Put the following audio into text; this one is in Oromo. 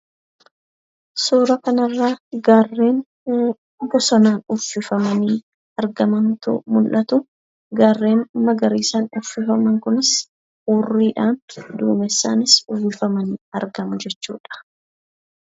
Suura kana irratti gaarreen bosonaan uwwisamanii argamantu mul'atu. Gaarreen magariisaan uwwisaman kunis hurriidhaan duumessaanis uwwifamanii argamu jechuudha.